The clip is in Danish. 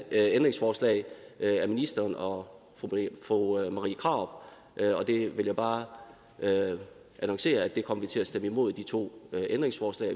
ændringsforslag af ministeren og af fru marie krarup og der vil jeg bare annoncere at vi kommer til at stemme imod de to ændringsforslag